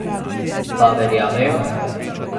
Pa verjamejo?